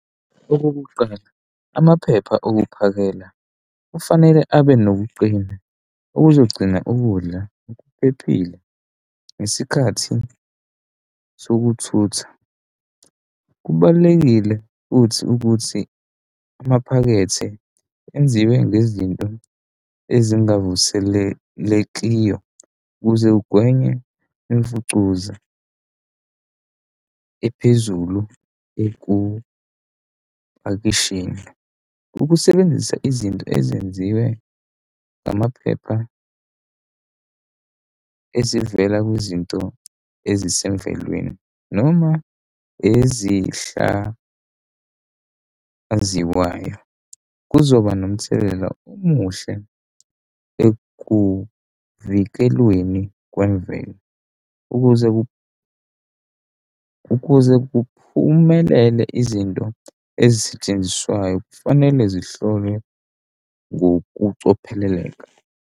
Okokuqala, amaphepha okuphakela kufanele abe nokuqina okuzogcina ukudla okuphephile ngesikhathi sokuthutha. Kubalulekile futhi ukuthi amaphakethe enziwe ngezinto ezingabavuselelekiyo ukuze kugwenywe imfucuza ephezulu ekupakisheni. Ukusebenzisa izinto ezenziwe amaphepha ezivela kwizinto ezisemvelweni noma ezihlaziwayo kuzoba nomthelela omuhle ekuvikelweni kwemvelo. Ukuze ukuze kuphumelele izinto ezisetshenziswayo, kufanele zihlolwe ngokucophelela.